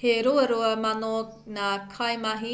he ruarua mano ngā kaimahi